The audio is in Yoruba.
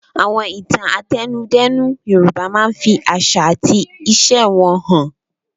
Àwọn ìtàn àtẹnudẹ́nu Yorùbá máa ń fi àṣà àti ìṣe wọn hàn.